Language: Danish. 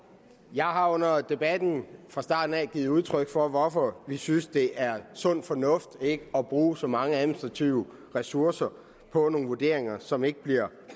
jeg har under debatten fra starten givet udtryk for hvorfor vi synes at det er sund fornuft ikke at bruge så mange administrative ressourcer på nogle vurderinger som ikke bliver